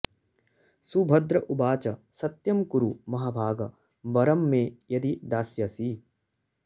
सुभद्र उवाच सत्यं कुरु महाभाग वरं मे यदि दास्यसि